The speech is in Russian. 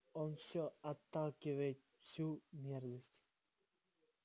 он всё отталкивает всю мерзость